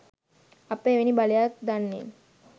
අප එවැනි බලයක් දන්නේ